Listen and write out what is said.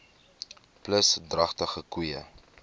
plus dragtige koeie